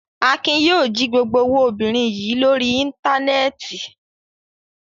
Akin yóò jí gbogbo owó obìnrin yìí lórí Íńtánẹ́ẹ̀tì.